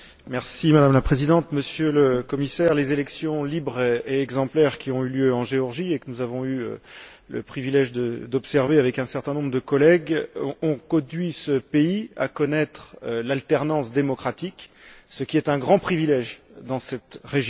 Madame la Présidente, Monsieur le Commissaire, les élections libres et exemplaires qui ont eu lieu en Géorgie et que nous avons eu le privilège d'observer avec un certain nombre de collègues ont conduit ce pays à connaître l'alternance démocratique, ce qui est un grand privilège dans cette région.